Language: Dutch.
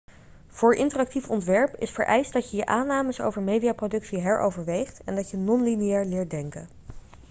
voor interactief ontwerp is vereist dat je je aannames over mediaproductie heroverweegt en dat je non-lineair leert denken